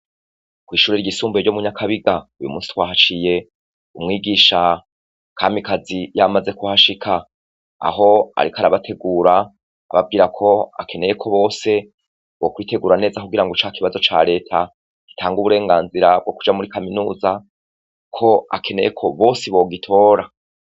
Kw'ishure ryisumbuye ryo mu Nyakabiga uyu musi twahaciye umwigisha Kamikazi yamaze kuhashika. Aho ariko arabategura ababwira ko akeneye ko bose bokwitegura neza kugira ngo ca kibazo ca reta gitanga uburenganzira bwo kuja muri Kaminuza, ko akeneye ko bose bogitora.